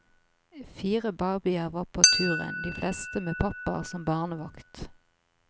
Fire babyer var med på turen, de fleste med pappaer som barnevakt.